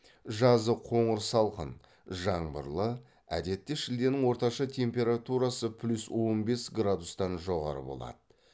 жазы қоңыр салқын жаңбырлы әдетте шілденің орташа температурасы плюс он бес градустан жоғары болады